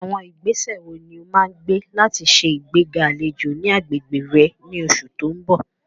Àwọn ìgbésẹ̀ wo ni o máa gbé láti ṣe ìgbéga àlejò ní agbègbè rẹ ní oṣù tó ń bọ̀?